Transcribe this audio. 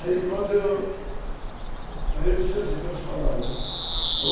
Aí quando eu... Aí eu disse assim, para essas palavras, né?